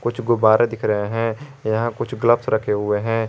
कुछ गुब्बारे दिख रहे हैं यहां कुछ ग्लव्स रखे हुए हैं।